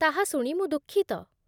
ତାହା ଶୁଣି ମୁଁ ଦୁଃଖିତ।